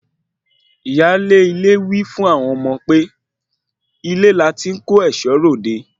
Ìyáálé ilé wí fún àwọn ọmọ pé ilé láti kó ẹ̀ṣọ́ ròde